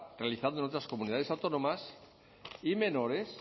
realizando en otras comunidades autónomas y menores